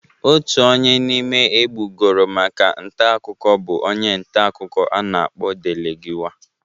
Otu onye n'ime egbugoro maka ntakụkọ bụ onye ntakụkọ a na-akpọ Delegiwa.